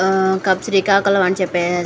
ఆ శ్రీకాకుళం అని చెప్పే --